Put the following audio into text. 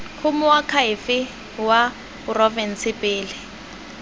go moakhaefe wa porofense pele